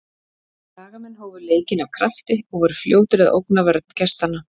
Skagamenn hófu leikinn af krafti og voru fljótir að ógna vörn gestanna.